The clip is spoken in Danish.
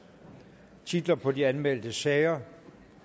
titler på de anmeldte sager